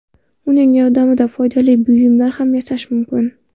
Uning yordamida foydali buyumlar ham yasash mumkin.